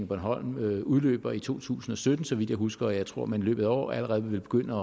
bornholm udløber i to tusind og sytten så vidt jeg husker og jeg tror at man i løbet af i år allerede vil begynde